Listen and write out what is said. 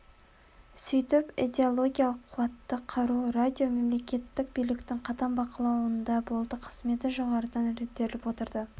сөйтіп идеологиялық қуатты қару радио мемлекеттік биліктің қатаң бақылауында болды қызметі жоғарыдан реттеліп отырды